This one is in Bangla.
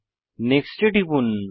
নেক্সট এ টিপুন